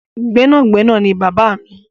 Gbẹ́nàgbẹnà ni bàbáà mi.